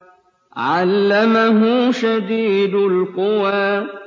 عَلَّمَهُ شَدِيدُ الْقُوَىٰ